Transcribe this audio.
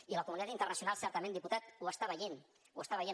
i la comunitat internacional certament diputat ho està veient ho està veient